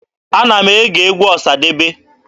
Ana m ege egwu Ọsadebe.